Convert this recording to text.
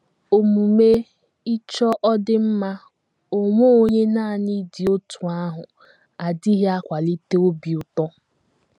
Omume ịchọ ọdịmma onwe onye nanị dị otú ahụ adịghị akwalite obi ụtọ.